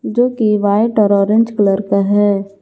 जो कि व्हाइट और ऑरेंज कलर का है।